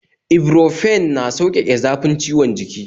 Ibuprofen na sauƙake zafin ciwon jiki